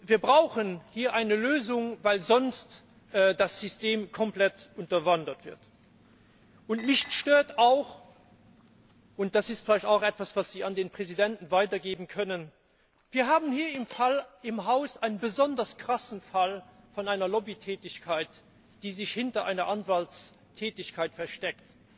Wir brauchen hier eine Lösung, weil das System sonst komplett unterwandert wird. Mich stört auch und das ist vielleicht auch etwas, was Sie an den Präsidenten weitergeben können dass wir hier im Haus einen besonders krassen Fall von einer Lobbytätigkeit haben, die sich hinter einer Anwaltstätigkeit versteckt.